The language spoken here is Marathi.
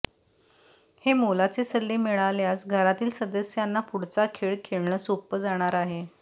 हे मोलाचे सल्ले मिळाल्यास घरातील सदस्यांना पुढचा खेळ खेळणं सोप्पं जाणार आहे